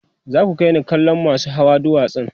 za ku kaini kallon masau Hawa duwatsan